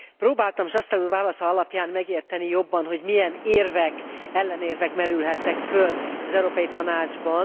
Próbáltam Chastel úr válasza alapján megérteni jobban, hogy milyen érvek, ellenérvek merülhettek föl az Európai Tanácsban.